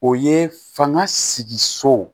O ye fanga sigi so